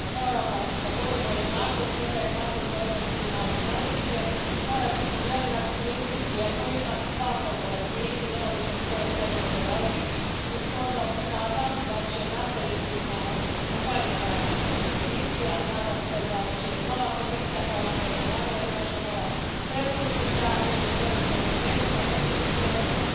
Dakle, kad govorimo o jednakosti, onda se jednakost odnosi i na ovo područje mora biti jednak pristup lijekovima svakom bolesniku, neovisno iz koje zemlje dolazi i stoga pohvaljujem rad aktualne Komisije i nadam se da će i nova Komisija nastaviti, kao što je i najavila naša nova predsjednica u svojim prioritetima, voditi o tome računa,